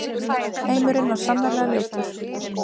Heimurinn var sannarlega ljótur.